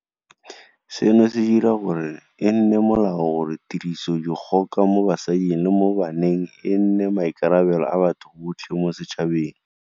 Seno se dira gore e nne molao gore tirisodikgoka mo basading le mo baneng e nne maikarabelo a batho botlhe mo setšhabeng.